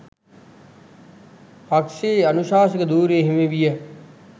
පක්ෂයේ අනුශාසක ධුරය හිමි විය.